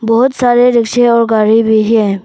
बहोत सारे रिक्शे और गाड़ी भी है।